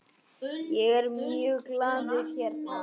Ég er mjög glaður hérna.